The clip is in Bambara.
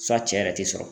Fa cɛ yɛrɛ tɛ sɔrɔ